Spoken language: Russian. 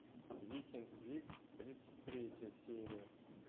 викинг вик тридцать третья серия